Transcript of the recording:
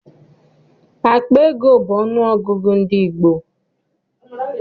Akpa ego bụ ọnụ ọgụgụ ndị gboo.